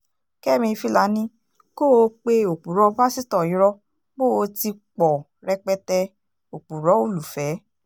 kẹ́mi filani kó o pe òpùrọ́ pásítọ̀ irọ́ pó o ti pọ̀ rẹpẹtẹ òpùrọ́ olùfẹ́